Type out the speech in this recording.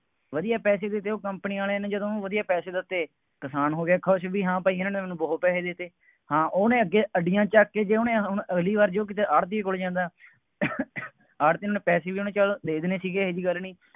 ਵਧੀਆ ਪੈਸੇ ਵੀ ਦੇਊ, company ਵਾਲੇ ਨੇ ਜਦੋਂ ਉਹਨੂੰ ਵਧੀਆ ਪੈਸੇ ਦਿੱਤੇ, ਕਿਸਾਨ ਹੋ ਗਿਆ ਖੁਸ਼ ਬਈ ਹਾਂ ਭਾਈ ਇਹਨਾ ਨੇ ਮੈਨੂੰ ਬਹੁਤ ਪੈਸੇ ਦੇ ਦਿੱਤੇ। ਹਾਂ ਉਹਨੇ ਅੱਗੇ ਅੱਡੀਆਂ ਚੱਕ ਕੇ, ਜੇ ਉੇਹਨੇ ਅਮ ਹੁਣ ਅਗਲੀ ਵਾਰ ਜੇ ਉਹ ਕਿਸੇ ਆੜ੍ਹਤੀਏ ਕੋਲ ਜਾਂਦਾ ਆੜ੍ਹਤੀਏ ਨੇ ਉਹਂਨੂੰ, ਪੈਸੇ ਵੀ ਉਹਨੂੰ ਚੱਲ ਦੇ ਦੇਣੇ ਸੀਗੇ, ਇਹੋ ਜਿਹੀ ਗੱਲ ਨਹੀਂ,